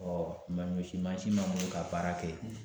ma ɲɔsin mansin b'a bolo ka baara kɛ